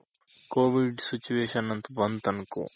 covid situation ಅಂತ ಬಂತ್ ಅನ್ಕೋ